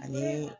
Ani